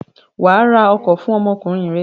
Wà á ra ọkọ̀ fún ọmọkùnrin rẹ!